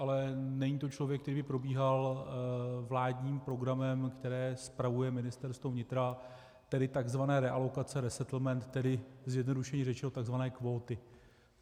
Ale není to člověk, který by probíhal vládním programem, který spravuje Ministerstvo vnitra, tedy tzv. realokace, resettlement, tedy zjednodušeně řečeno tzv. kvóty.